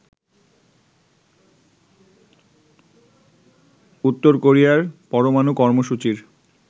উত্তর কোরিয়ার পরমাণু কর্মসূচির